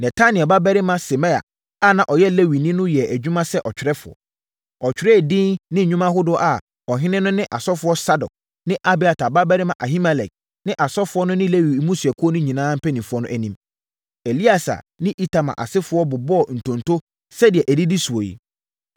Netanel babarima Semaia a na ɔyɛ Lewini no yɛɛ adwuma sɛ ɔtwerɛfoɔ. Ɔtwerɛɛ din ne nnwuma ahodoɔ wɔ ɔhene no ne ɔsɔfoɔ Sadok ne Abiatar babarima Ahimelek ne asɔfoɔ no ne Lewi mmusua no mpanimfoɔ anim. Eleasa ne Itamar asefoɔ bobɔɔ ntonto sɛdeɛ ɛdidi soɔ yi: